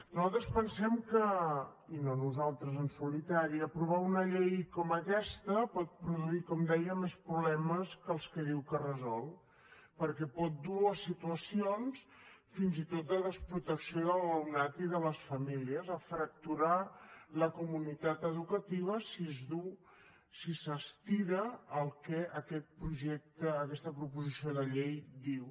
nosaltres pensem que i no nosaltres en solitari aprovar una llei com aquesta pot produir com dèiem més problemes que els que diu que resol perquè pot dur a situacions fins i tot de desprotecció de l’alumnat i de les famílies a fracturar la comunitat educativa si es duu si s’estira el que aquesta proposició de llei diu